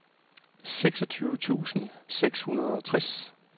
seksogtyve tusind seks hundrede og tres